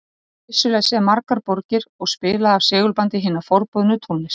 Hann hafði vissulega séð margar borgir og spilaði af segulbandi hina forboðnu tónlist